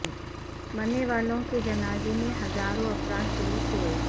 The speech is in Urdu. مرنے والوں کے جنازے میں ہزاروں افراد شریک ہوئے